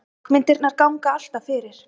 Höggmyndirnar ganga alltaf fyrir.